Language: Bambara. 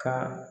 Ka